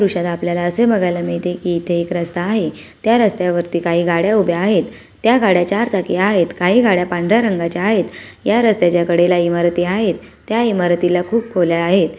दृष्याला आपल्याला बागायला मिळते की इथे रास्ता आहे काही गाड्या उभ्या आहेत त्या गाड्या चार चाकी आहेत काही गाड्या पांढऱ्या रंगाच्या आहेत या रस्तेच्या कडेला ईमारती आहे त्या इमारतीला खूप खोल्या आहेत.